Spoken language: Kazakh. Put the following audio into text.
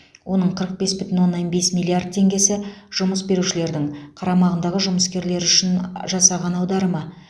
оның қырық бес бүтін оннан бес миллиард теңгесі жұмыс берушілердің қарамағындағы жұмыскерлер үшін жасаған аударымы